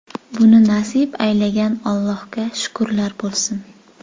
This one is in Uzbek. Buni nasib aylagan Allohga shukrlar bo‘lsin.